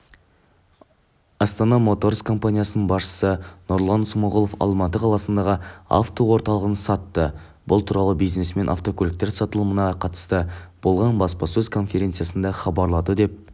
астана моторс компаниясының басшысы нұрлан смағұлов алматы қаласындағы автоорталығын сатты бұл туралы бизнесмен автокөліктер сатылымына қатысты болған баспасөз конференциясында хабарлады деп